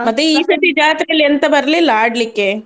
ಮತ್ತೆ ಜಾತ್ರೆಯಲ್ಲಿ ಎಂತ ಬರ್ಲಿಲ್ಲ ಆಡ್ಲಿಕ್ಕೆ.